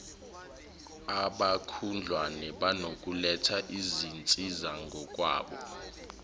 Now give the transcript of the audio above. abakhudlwana banokuletha izinsizangokwabo